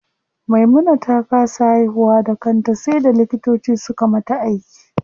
Maimuna ta kasa haihuwa da kanta sai da likitoci suka mata aiki.